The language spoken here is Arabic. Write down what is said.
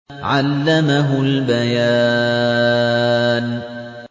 عَلَّمَهُ الْبَيَانَ